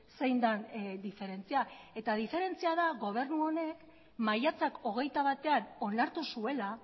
zein den diferentzia eta diferentzia da gobernu honek maiatzak hogeita batean onartu zuela